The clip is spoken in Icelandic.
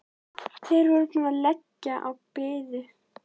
Þeir voru búnir að leggja á og biðu.